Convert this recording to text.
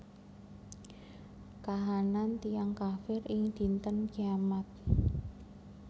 Kahanan tiyang kafir ing Dinten Kiamat